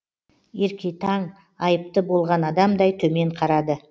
еркетаң айыпты болған адамдай төмен қарады